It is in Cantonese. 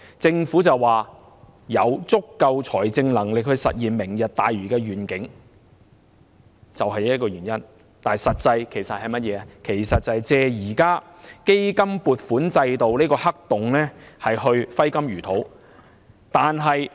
政府聲稱有足夠財政能力實現"明日大嶼願景"，但實際是藉現時基金撥款制度的黑洞去揮金如土。